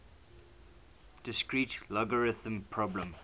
discrete logarithm problem